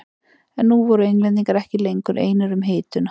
En nú voru Englendingar ekki lengur einir um hituna.